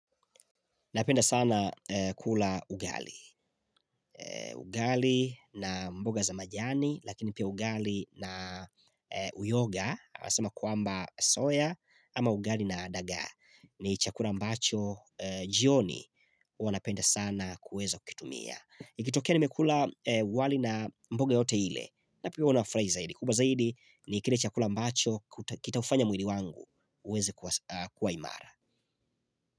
Napenda sana kula ugali. Ugali na mboga za majani lakini pia ugali na uyoga asema kuamba soya ama ugali na daga. Ni chakula mbacho jioni wanapenda sana kuweza kutumia. Ikitokea nimekula wali na mboga yote iile. Napia huwana furahi zaidi kubwa zaidi ni kile chakula ambacho kita ufanya mwili wangu uweze kuwa imara.